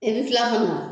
I bɛ tila ka na